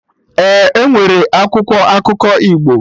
Ee, enwere akwụkwọ akụkọ Igbo